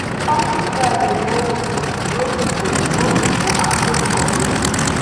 farming together dey grow food grow people grow people and grow the community